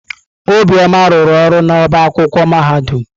Obioma rụrụ ọrụ n'ọba akwụkwọ mahadum.